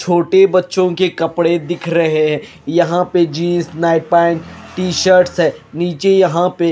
छोटे बच्चोंके कपड़े दिख रहे हैं यहां पे jeans night pant T shirts हैं नीचे यहां पे--